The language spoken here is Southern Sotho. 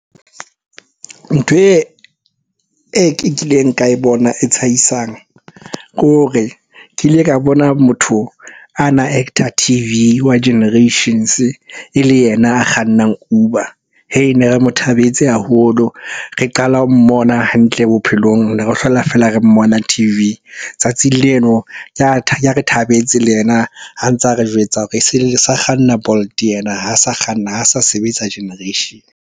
Ntho e ke kileng ka e bona e tshehisang ke hore ke ile ka bona motho a na actor T_V wa Generations e le yena a kgannang Uber. Ne re mo thabetse haholo, re qala ho mmona hantle bophelong. Ne re hlola feela re mmona T_V. Tsatsing leno ke hare thabetse le yena a ntsa re jwetsa hore sa kganna Bolt yena ha a sa kganna, ha sa sebetsa Generation.